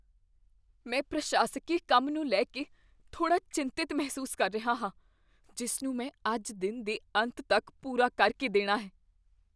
ਮੈਂ ਪ੍ਰਸ਼ਾਸਕੀ ਕੰਮ ਨੂੰ ਲੈ ਕੇ ਥੋੜ੍ਹਾ ਚਿੰਤਿਤ ਮਹਿਸੂਸ ਕਰ ਰਿਹਾ ਹਾਂ ਜਿਸ ਨੂੰ ਮੈਂ ਅੱਜ ਦਿਨ ਦੇ ਅੰਤ ਤੱਕ ਪੂਰਾ ਕਰ ਕੇ ਦੇਣਾ ਹੈ।